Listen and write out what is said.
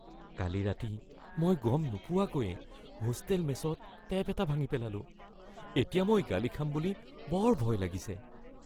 কালি ৰাতি মই গম নোপোৱাকৈয়ে হোষ্টেল মেছত টেপ এটা ভাঙি পেলালোঁ, এতিয়া মই গালি খাম বুলি বৰ ভয় লাগিছে।